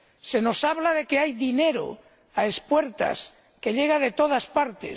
Se nos habla de que hay dinero a espuertas, que llega de todas partes.